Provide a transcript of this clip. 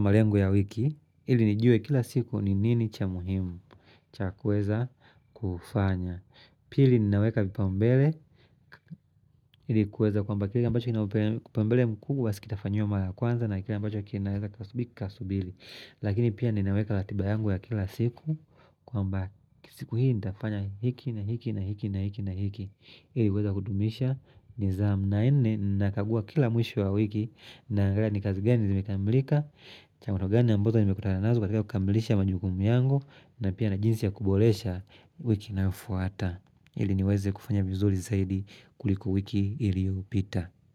malengo ya wiki ili nijue kila siku ni nini cha muhimu cha kuweza kufanya. Pili ninaweka vipaumbele Hili kuweza kwamba kila ambacho kina upaumbele mkubwa si kitafanyiwa mara ya kwanza na kila ambacho kinaweza kikasubili kikasubili Lakini pia ninaweka latiba yangu ya kila siku kwamba siku hii nitafanya hiki na hiki na hiki na hiki Hili uweza kudumisha nizamu na nne nakagua kila mwisho wa wiki Naangalia ni kazi gani zimekamilika changamoto gani ambazo nimekutana nazo katika kukamilisha majukumu yangu na pia na jinsi ya kubolesha wiki inayofuata ili niweze kufanya vizuri zaidi kuliko wiki iliopita.